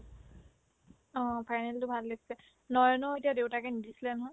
অ, final তো ভাল লাগিছে নয়নক এতিয়া দেউতাকে নিদিছিলে নহয়